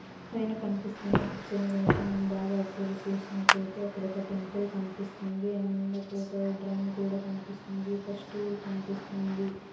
పైన కన్పిస్తున్న పిక్చర్ ని గనక మనం బాగా అబ్జర్వ్ చేసినట్టయితే అక్కడొక టెంపుల్ కన్పిస్తుంది అండ్ అక్కడొక డ్రం కూడా కన్పిస్తుంది ఒక స్టూల్ కన్పిస్తుంది.